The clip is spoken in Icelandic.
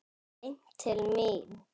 Beint til mín!